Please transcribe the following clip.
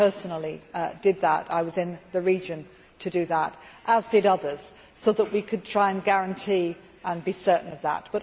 I personally did that I was in the region to do that as did others, so we could try to guarantee and be certain of that.